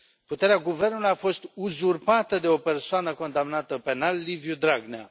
Puterea guvernului a fost uzurpată de o persoană condamnată penal Liviu Dragnea.